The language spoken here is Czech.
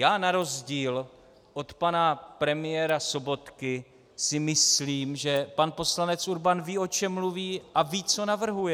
Já na rozdíl od pana premiéra Sobotky si myslím, že pan poslanec Urban ví, o čem mluví, a ví, co navrhuje.